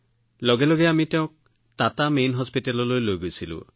লগে লগে আমি তেওঁক টাটাৰ মুখ্য চিকিৎসালয়লৈ লৈ গৈছিলো